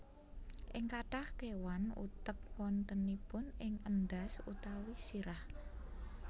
Ing kathah kéwan utek wontenipun ing endhas utawi sirah